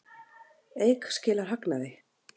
Eik skilar hagnaði